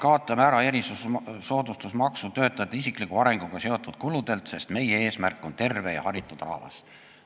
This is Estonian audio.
"Kaotame ära erisoodustusmaksu töötajate isikliku arenguga seotud kuludelt, sest meie eesmärk on terve ja haritud rahvas.